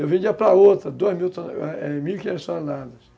Eu vendia para outra, duas mil mil e quinhentas toneladas.